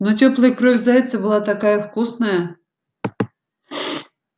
но тёплая кровь зайца была такая вкусная